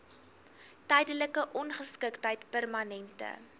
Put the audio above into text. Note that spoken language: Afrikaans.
tydelike ongeskiktheid permanente